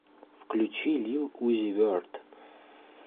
включи лил узи верт